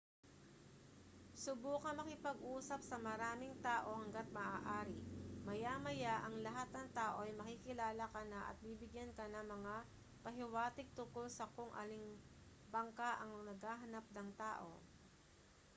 subukang makipag-usap sa maraming tao hangga't maaari maya-maya ang lahat ng tao ay makikilala ka na at bibigyan ka ng mga pahiwatig tungkol sa kung aling bangka ang naghahanap ng tao